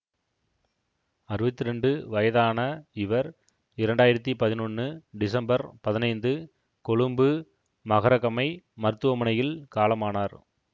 அறுவத்தி இரண்டு வயதான இவர் இரண்டு ஆயிரத்தி பதினொன்னு டிசம்பர் பதினைந்து கொழும்பு மகரகமை மருத்துவமனையில் காலமானார்